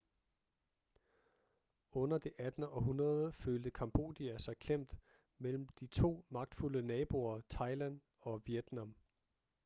under det 18. århundrede følte cambodia sig klemt mellem de to magtfulde naboer thailand og vietnam